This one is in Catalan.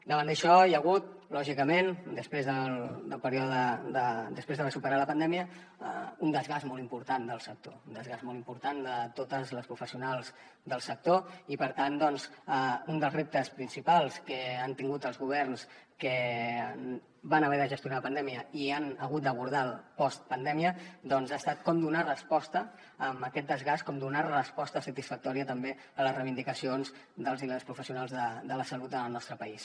davant d’això hi ha hagut lògicament després d’haver superat la pandèmia un desgast molt important del sector un desgast molt important de totes les professionals del sector i per tant doncs un dels reptes principals que han tingut els governs que van haver de gestionar la pandèmia i han hagut d’abordar la postpandèmia doncs ha estat com donar resposta a aquest desgast com donar resposta satisfactòria també a les reivindicacions dels i les professionals de la salut en el nostre país